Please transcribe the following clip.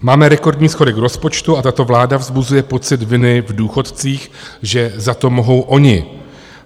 Máme rekordní schodek rozpočtu a tato vláda vzbuzuje pocit viny v důchodcích, že za to mohou oni.